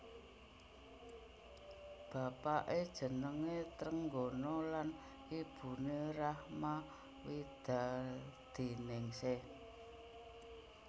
Bapaké jenengé Trenggono lan ibuné Rachma Widadiningsih